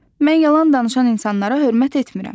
Mən yalan danışan insanlara hörmət etmirəm.